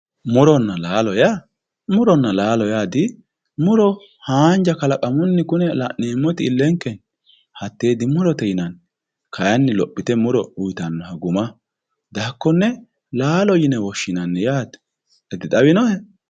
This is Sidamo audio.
Muronna laalo. muronna laallo yaa dimuro haanja kalaqumunni kune la'neemmoti ilenke hatte dimurote yinanni kayinni lophite uyittanoha guma dihakkone laalo yine woshshinanni yaate, dixawinohe?